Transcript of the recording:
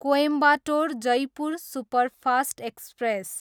Coimbatore, Jaipur superfast express